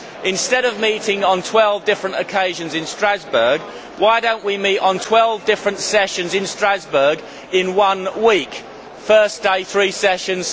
Instead of meeting on twelve different occasions in Strasbourg, why do we not meet on twelve different sessions in Strasbourg in one week first day three sessions